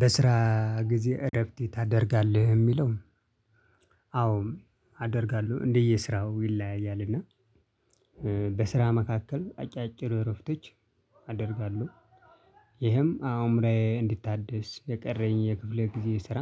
"በስራ ጊዜ እረፍት ታደርጋለህ?" የሚለው አዎ አደርጋለሁ። እንደየስራው ይለያያል እና በስራ መካከል አጫጭር እረፍቶች አደርጋለሁ። ይህም አእምሬ እንዲታደስ የቀረኝ የክፍለ ጊዜ ስራ